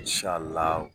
Sala